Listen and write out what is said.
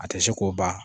A tɛ se k'o ban